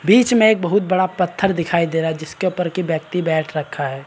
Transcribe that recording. बीच में एक बहुत बड़ा पत्थर दिखाई दे रहा जिसके ऊपर कि व्यक्ति बैठ रखा है।